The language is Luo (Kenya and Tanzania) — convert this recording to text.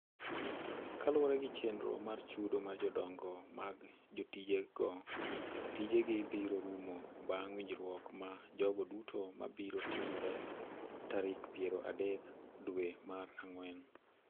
Kaluwore gi chenro mar chudo mar jodongo mag jotijego, tijegi biro rumo bang’ winjruok ma jogo duto ma biro timore tarik piero adek dwe mar ang’wen.